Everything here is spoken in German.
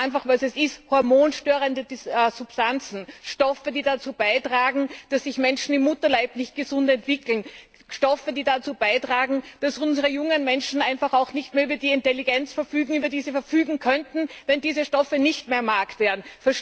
Sagen wir einfach, was es ist hormonstörende Substanzen, Stoffe, die dazu beitragen, dass sich Menschen im Mutterleib nicht gesund entwickeln, Stoffe, die dazu beitragen, dass unsere jungen Menschen einfach auch nicht mehr über die Intelligenz verfügen, über die sie verfügen könnten, wenn diese Stoffe nicht mehr am Markt wären.